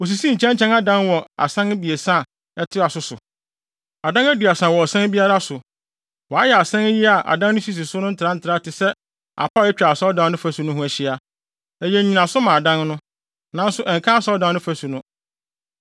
Wosisii nkyɛnkyɛn adan wɔ asan abiɛsa a ɛtoa so so. Adan aduasa wɔ ɔsan biara so. Wɔayɛ asan yi a adan no sisi so no ntrantraa te sɛ apa a atwa asɔredan no fasu no ho ahyia. Ɛyɛ nnyinaso ma adan no, nanso ɛnka asɔredan no fasu no.